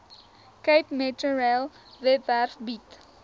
capemetrorail webwerf bied